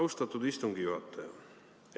Austatud istungi juhataja!